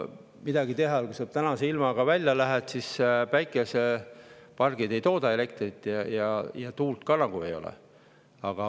Midagi teha ei ole, no mine tänase ilmaga välja: päikesepargid ei tooda elektrit, tuult ka nagu ei ole.